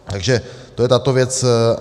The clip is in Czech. Takže to je tato věc.